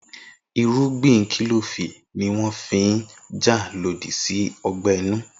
Irúgbìn kílòfù ní wọ́n fi n jà lòdì sí ọgbẹ́ inú